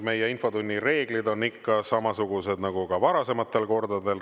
Meie infotunni reeglid on ikka samasugused nagu ka varasematel kordadel.